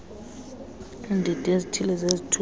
iindidi ezithile zezithuthi